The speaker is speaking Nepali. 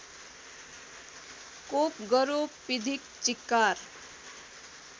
कोप गरोपीधिक चिक्कार